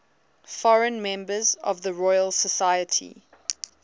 foreign members of the royal society